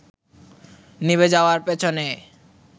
নিভে যাওয়ার পেছনে